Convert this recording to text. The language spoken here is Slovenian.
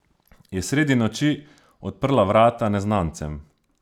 Je sredi noči odprla vrata neznancem?